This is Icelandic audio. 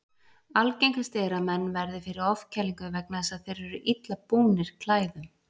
Algengast er að menn verði fyrir ofkælingu vegna þess að þeir eru illa búnir klæðum.